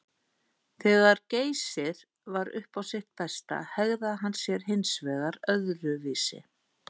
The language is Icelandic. Þegar Geysir var upp á sitt besta hegðaði hann sér hins vegar öðruvísi.